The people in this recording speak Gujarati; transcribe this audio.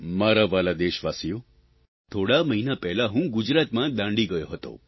મારા વ્હાલા દેશવાસીઓ થોડા મહિના પહેલાં હું ગુજરાતમાં દાંડી ગયો હતો